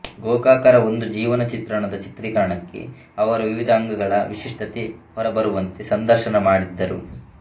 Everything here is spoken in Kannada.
ಗೋಕಾಕರ ಒಂದು ಜೀವನ ಚಿತ್ರಣದ ಚಿತ್ರೀಕರಣಕ್ಕೆ ಅವರ ವಿವಿಧ ಅಂಗಗಳ ವಿಶಿಷ್ಟತೆ ಹೊರಬರುವಂತೆ ಸಂದರ್ಶನ ಮಾಡಿದ್ದರು